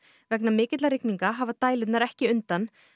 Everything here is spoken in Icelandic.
vegna mikilla rigninga hafa dælurnar ekki undan